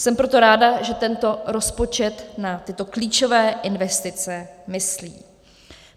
Jsem proto ráda, že tento rozpočet na tyto klíčové investice myslí.